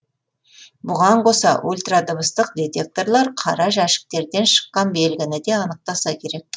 бұған қоса ультрадыбыстық детекторлар қара жәшіктерден шыққан белгіні де анықтаса керек